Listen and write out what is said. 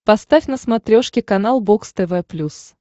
поставь на смотрешке канал бокс тв плюс